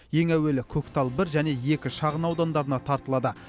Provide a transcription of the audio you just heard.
ең әуелі көктал бір және екі шағын аудандарына тартылады